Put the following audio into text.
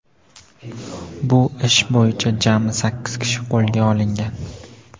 Bu ish bo‘yicha jami sakkiz kishi qo‘lga olingan.